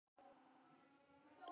Hvað heitir hún aftur?